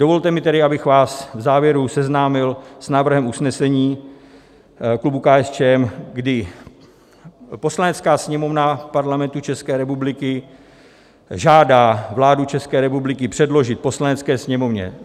Dovolte mi tedy, abych vás v závěru seznámil s návrhem usnesení klubu KSČM, kdy: Poslanecká sněmovna Parlamentu České republiky žádá vládu České republiky předložit Poslanecké sněmovně